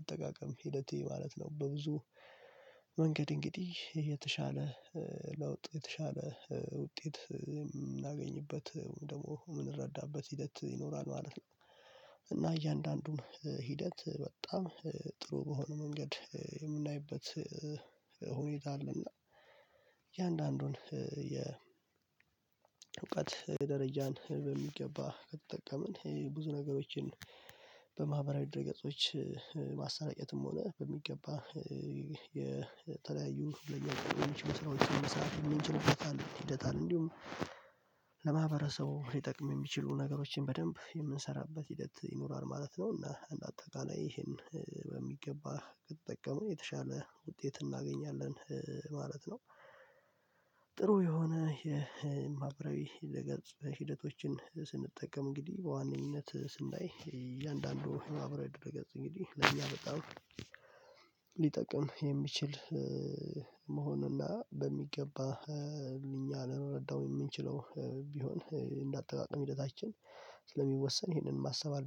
አጠቃቀም ሂደቴ ማለት ነው። በብዙ መንገድ እንግዲህ የተሻለ ለውጥ የተሻለ ውጤት የምናገኝበት ደግሞ የምንረዳበት ሂደት ይኖራል ማለት ነው። እና እያንዳንዱን ሂደት በጣም ጥሩ በሆነ መንገድ የምናይበት እ ሁኔታ አለና እያንዳንዱን እ የእውቀት ደረጃን በሚገባ ከተጠቀምን ብዙ ነገሮችን በማህበራዊ ድረገጾች እ እ ማሰራጨትም ሆነ በሚገባ እ የተለያዩ ለኛ ሊጠቅሙ የሚችሉ ሰራዎችን መስራት የምንችልበት አለ ሂደት አለ። እንዲሁም ለማህበረሰቡ ሊጠቅም የሚችሉ ነገሮችን በደንብ የምንሰራበት ሂደት ይኖራል ማለት ነው እና እንደ አጠቃላይ ይሄን በሚገባ ከተጠቀምን የተሻለ ውጤት እናገኛለን ማለት ነው። ጥሩ የሆነ የ ማበራዊ ድረ ገጽ ሂደቶችን ስንጠቀም እንግዲህ በዋነኝነት ስናይ እያንዳንዱ የማበራዊ ድረ ገጽ እንግዲህ ለእኛ በጣም ሊጠቅም የሚችል እ መሆኑንና በሚገባ እኛ ልንረዳው የምንችለው ቢሆን እንደ እንዳጠቃቀም ሂደታችን ስለሚወሰን ይሄንን ማሰብ አለ